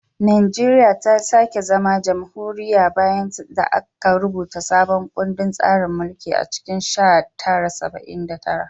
Najeriya ta sake zama jamhuriya bayan da aka rubuta sabon kundin tsarin mulki a cikin sha tara saba'in da tara